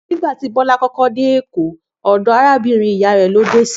Nígbà tí Bó̩lá kó̩kó̩ dé Èkó, ò̩dò̩ arábìrin ìyá rè̩̀ ló dé sí